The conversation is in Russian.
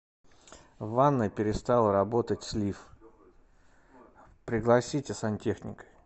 в ванной перестал работать слив пригласите сантехника